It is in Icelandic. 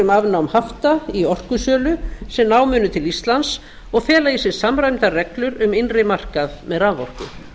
um afnám hafta í orkusölu sem ná munu til íslands og fela í sér samræmdar reglur um innri markað með raforku